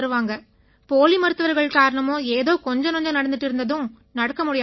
போலி மருத்துவர்கள் காரணமா ஏதோ கொஞ்ச நஞ்சம் நடந்திட்டு இருந்தும் அதுவும் நடக்க முடியாம போச்சு